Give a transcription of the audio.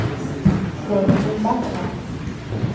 Torgny Backman